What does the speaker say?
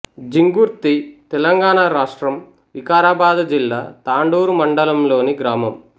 జింగుర్తి తెలంగాణ రాష్ట్రం వికారాబాదు జిల్లా తాండూరు మండలంలోని గ్రామం